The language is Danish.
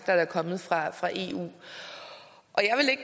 er kommet fra fra eu